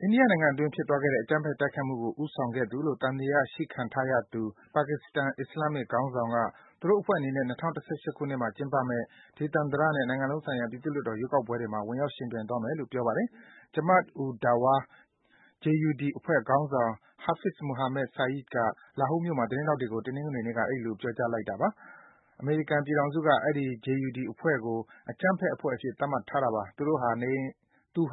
အိန္ဒိယနိုင်ငံအတွင်း ဖြစ်သွားခဲ့တဲ့ အကြမ်းဖက် တိုက်ခိုက်မှုကို ဦးဆောင်ခဲ့သူလို့ သံသယ ရှိခံထားရသူ ပါကစ္စတန် အစ္စလာမ်ခေါင်းဆောင်က သူတို့အဖွဲ့အနေနဲ့ ၂၀၁၈ ခုနှစ်မှာ ကျင်းပမယ့် ဒေသန္တရနဲ့ နိုင်ငံလုံးဆိုင်ရာ ပြည်သူ့လွှတ်တော် ရွေးကောက်ပွဲတွေမှာ ဝင်ရောက် ယှဉ်ပြိုင်သွားမယ်လို့ ပြောပါတယ်။ Jamaat-ud-Dawa (JUD) အဖွဲ့ခေါင်းဆောင် Hafiz Muhammad Saeed က Lahore မြို့မှာ သတင်းထောက်တွေကို တနင်္ဂနွေနေ့က အဲဒီလို ပြောကြားလိုက်တာပါ။ အမေရိကန်ပြည်ထောင်စုက အဲဒီ JUD အဖွဲ့ကို အကြမ်းဖက် အဖွဲ့အဖြစ် သတ်မှတ်ထားတာပါ။ သူ